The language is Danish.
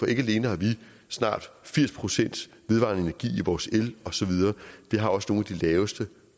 ikke alene har vi snart firs procent vedvarende energi i vores el osv vi har også nogle af de laveste